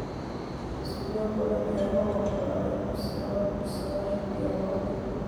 Xisbiyo badan ayaa la oggolaaday kuun sagal boqol sagashan iyo lawodii.